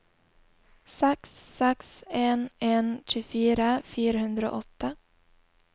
seks seks en en tjuefire fire hundre og åtte